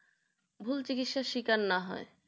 ভুল চিকিৎসাস্বীকার না হয়